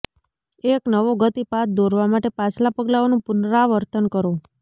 એક નવો ગતિ પાથ દોરવા માટે પાછલા પગલાઓનું પુનરાવર્તન કરો